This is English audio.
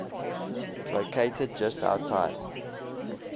located just outside